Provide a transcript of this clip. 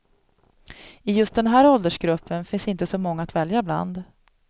I just den här åldersgruppen finns inte så många att välja bland.